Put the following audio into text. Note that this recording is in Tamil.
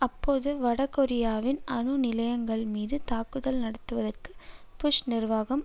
அப்போது வடகொரியாவின் அணு நிலையங்கள் மீது தாக்குதல் நடத்துவதற்கு புஷ் நிர்வாகம்